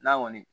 N'a kɔni